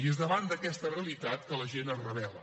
i és davant d’aquesta realitat que la gent es rebel·la